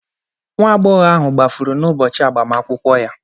Nwa agbọhọ ahụ gbafuru n’ụbọchị agbamakwụkwọ ya.